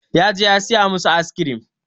Ya je ya saya masu aiskrim.